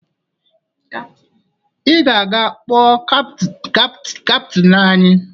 Ị ga-aga kpọọ kaptịn anyị!